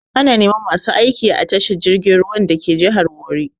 Ana neman masu aiki a tashar jirgin ruwan dake jihar Warri.